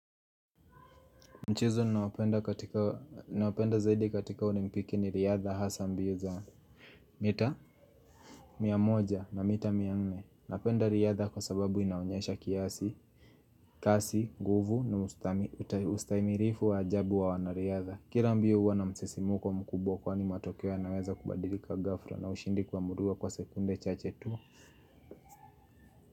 Mchezo naopenda katika zaidi katika olimpiki ni riadha hasa mbio za Mita Miamoja na mita mianne. Napenda riadha kwa sababu inaonyesha kiasi kasi, nguvu na ustaimirifu wa ajabu wa wana riadha. Kira mbio huwa na msisimko mkubwa kwa ni matokeo ya naweza kubadilika ghafla na ushindi kuamuliwa kwa sekunde chache tu.